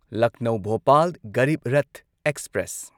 Lucknow Bhopal Garib Rath express